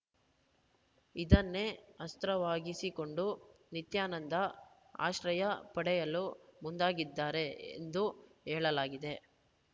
ಇದನ್ನೇ ಅಸ್ತ್ರವಾಗಿಸಿಕೊಂಡು ನಿತ್ಯಾನಂದ ಆಶ್ರಯ ಪಡೆಯಲು ಮುಂದಾಗಿದ್ದಾರೆ ಎಂದು ಹೇಳಲಾಗಿದೆ